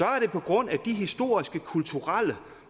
er det på grund af de historiske kulturelle